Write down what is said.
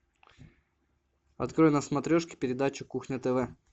открой на смотрешке передачу кухня тв